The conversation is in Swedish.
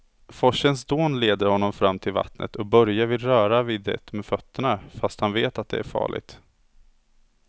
Forsens dån leder honom fram till vattnet och Börje vill röra vid det med fötterna, fast han vet att det är farligt.